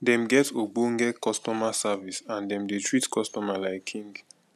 dem get ogbonge customer service and dem dey treat customer like king